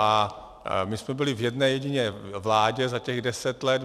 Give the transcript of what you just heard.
A my jsme byli v jedné jediné vládě za těch deset let.